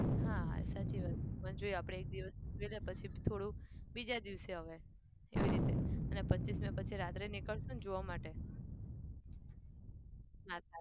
હા સાચી વાત પણ જો આપણે એક દિવસ જોઈએ પછી થોડું બીજા દિવસ અવાય એવી રીતે અને પચ્ચીસમીએ પછી રાતે નીકળશું ને જોવા માટે